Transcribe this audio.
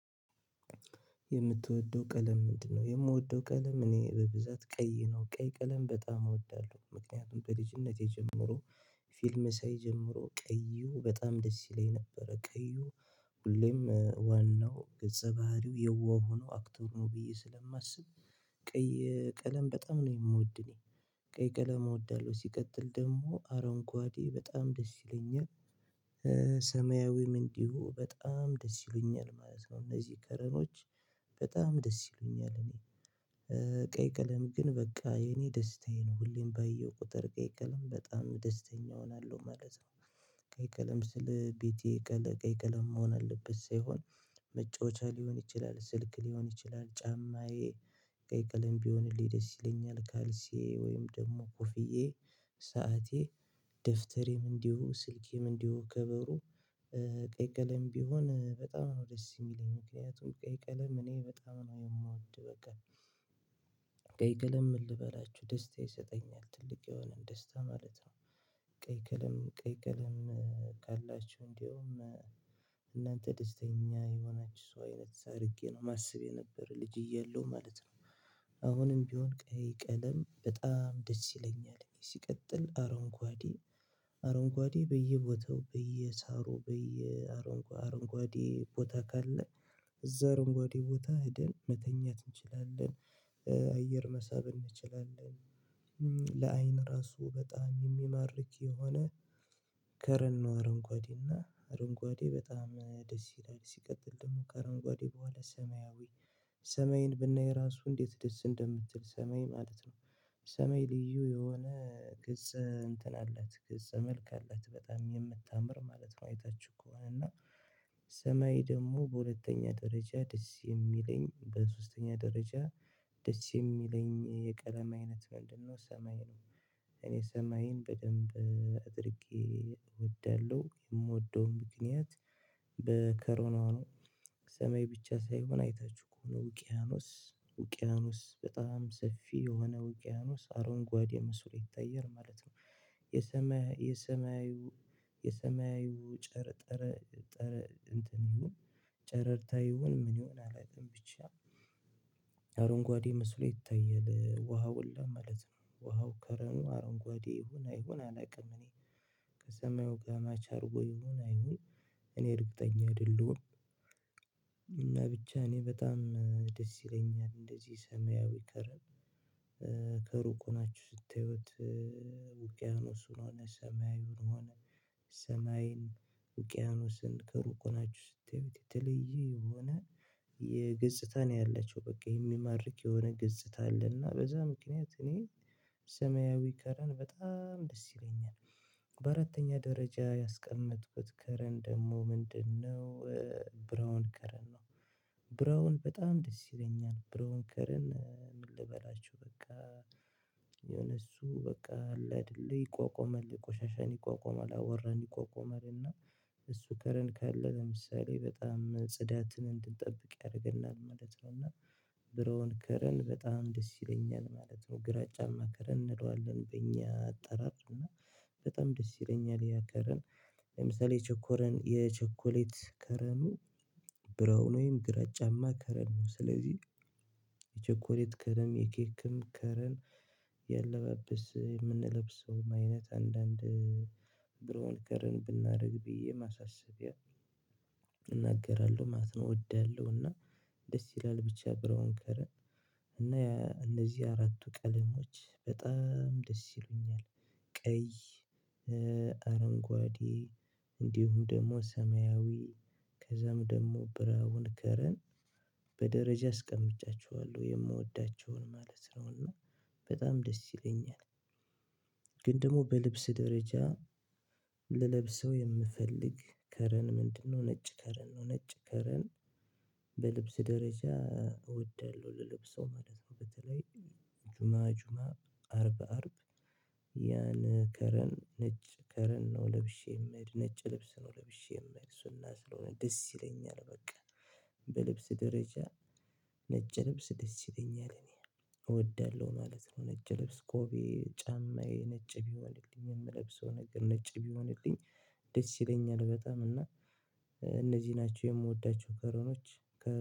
የምትወደው ቀለም ምንድነው? የምወደው ቀለም እኔ በብዛት ቀይ ነው ቀይ ቀለም በጣም እወዳለሁ ምክንያቱም በልጅነቴ ጀምሮ። ፊልም ሳይጀምሮ ቀዩ በጣም ደስ ይለኝ ነበረ ቀዩ። ሁሌም ዋናው ገጸ ባህሪው የዋህ ሆኖ አክተር ነው ብዬ ስለማስብ። ቀይ ቀለም በጣም ነው የምወድ እኔ። ቀይ ቀለም እወዳለሁ ሲቀጥል ደግሞ አረንጓዴ በጣም ደስ ይለኛል። ሰማያዊም እንዲሁ በጣም ደስ ይለኛል ማለት ነው እነዚህ ከረሮች። በጣም ደስ ይሉኛል እኔ። ቀይ ቀለም ግን በቃ የኔ ደስታዬ ነው ሁሌም ባየሁ ቁጥር ቀይ ቀለም በጣም ደስተኛ እሆናለሁ መለሰ። ቀይ ቀለም ስለ ቤቴ ቀለ ቀይ ቀለም መሆን አለበት ሳይሆን። መጫወቻ ሊሆን ይችላል ስልክ ሊሆን ይችላል ጫማዬ። ቀይ ቀለም ቢሆንልህ ደስ ይለኛል ካልሲዬ ወይም ደግሞ ኮፍያዬ ሰዓቴ ደፍተሬም እንዲሁ ስልኬም እንዲሁም ከበሩ። ቀይ ቀለም ቢሆን በጣም ነው ደስ የሚለኝ ምክንያቱም ቀይ ቀለም እኔ በጣም ነው የምወድ በቃ። ቀይ ቀለም ምን ልበላችሁ ደስታ ይሰጠኛል ትልቅ የሆነ ደስታ ማለት ነው። ቀይ ከለም ቀይ ቀለም ካላችሁ እንደውም እናንተ ደስተኛ የሆናችሁ ሰው አይነት አድርጌ ነው የማስብ የነበረ ልጅ እያለሁ ማለት ነው። አሁንም ቢሆን ቀይ ቀለም በጣም ደስ ይለኛል ሲቀጥል አረንጓዴ። አረንጓዴ በየቦታው በየሳሩ በየ አረንጓ አረንጓዴ ቦታ ካለ እዛ አረንጓዴ ቦታ ሄደን መተኛት እንችላለን። አየር መሳብ እንችላለን። ለአይን ራሱ በጣም የሚማርክ የሆነ። ከረር ነው አረንጓዴ እና አረንጓዴ በጣም ደስ ይላል ሲቀጥል ደግሞ ከአረንጓዴ በኋላ ሰማያዊ። ሰማይን ብናይ ራሱ እንዴት ደስ እንደምትል ሰማይ ማለት ነው። ሰማይ ልዩ የሆነ ገጽ እንትን አላት ገጸ መልካ አላት በጣም የምታምር ማለት ነው። አይታችሁ ከሆነ እና። ሰማይ ደግሞ በሁለተኛ ደረጃ ደስ የሚለኝ በሶስተኛ ደረጃ። ደስ የሚለኝ የቀለም አይነት ምንድነው ሰማይ ነው። ሰማይን በደንብ አድርጌ እወዳለሁ የምወደውን ምክንያት። በከረኖ ሰማይ ብቻ ሳይሆን አይታችሁ ከሆነ ውቅያኖስ ውቅያኖስ በጣም ሰፊ የሆነ ውቅያኖስ አረንጓዴ መስሎ ይታያል ማለት ነው። የሰማያዊ የሰማያዊ የሰማዩ ጨረር ጠረር እንትን ይሁን። ጨረርታ ይሁን ምን ይሁን አላውቅም ብቻ። አረንጓዴ መስሎ ይታየል ውሃ ውላ ማለት ነው ውሃው ከረኑ አረንጓዴ ይሁን አይሁን አላውቅም እኔ። ከሰማዩ ጋር ማች አድርጎ ይሁን አይሁን። እኔ እርግጠኛ አይደለሁም። እና ብቻ እኔ በጣም ደስ ይለኛል እንደዚህ ሰማያዊ ከረር። ከሩቅ ሆናችሁ ስታዪት። ውቅያኖሱን ሆነ ሰማያዊውን ሆነ። ሰማይን ውቅያኖስን ከሩቅ ሆናችሁ ስታዩት የተለየ የሆነ። የገጽታ ነው ያላቸው በቃ የሚማርክ የሆነ ገጽታ አለ እና በዛ ምክንያት እኔ ሰማያዊ ከረን በጣም ደስ ይለኛል። በአራተኛ ደረጃ ያስቀመጥኩት ከረን ደግሞ ምንድነው? ብራውን ከረን ነው። ብራውን በጣም ደስ ይለኛል ብራውን ከረን ምን ልበላችሁ በቃ። የሆነ እሱ በቃ አለ አይደል ይቋቋማል ቆሻሻን ይቋቋማል አብዋራን ይቋቋማልና። እሱ ከረን ካለ ለምሳሌ በጣም ጽዳትን እንድንጠብቅ ያደርገናል ማለት ነው እና። ብራውን ከረን በጣም ደስ ይለኛል ማለት ነው ግራጫማ ከረን እንለዋለን በእኛ አጠራር እና። በጣም ደስ ይለኛል ያከረን። ለምሳሌ ቸኮረን የቸኮሌት ከረኑ። ብራውን ወይም ግራጫማ ከረን ነው ስለዚህ። የቸኮሌት ከረም የኬክም ከረን። የለባበስ የምንለብሰው አይነት አንዳንድ ብሮን ከረን ብናደርግ ብዬ ማሳሰቢያ። እናገራለሁ ማለት ነው እወዳለሁ እና። ደስ ይላል ብቻ ብራውን ከረን። እና እነዚህ አራቱ ቀለሞች በጣም ደስ ይሉኛል። ቀይ። አረንጓዴ። እንዲሁም ደግሞ ሰማያዊ። ከዛም ደግሞ ብራውን ከረን። በደረጃ አስቀምጫችኋለሁ የምወዳቸውን ማለት ነው እና በጣም ደስ ይለኛል። ግን ደግሞ በልብስ ደረጃ ልለብሰው የምፈልግ ከረን ምንድነው? ነጭ ከረን ነው ነጭ ከረን። በልብስ ደረጃ። እወዳለሁ ልለብሰው ማለት ነው በተለይ። ጁማ ጁማ አርብ አርብ። ያን ከረን ነጭ ከረን ነው ለብሼ የምሄድ ነጭ ልብስ ነው ለብሼ የምሄድ ሱና ስለሆነ ደስ ይለኛል በቃ። በልብስ ደረጃ። ነጭ ልብስ ደስ ይለኛል እኔ። እወዳለሁ ማለት ነው ነጭ ልብስ ጎቢዬ ጫማዬ ነጭ ቢሆንልኝ የምለብሰው ነገር ነጭ ቢሆንልኝ። ደስ ይለኛል በጣም እና። እነዚህ ናቸው የምወዳቸው ከረኖች።